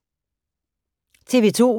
TV 2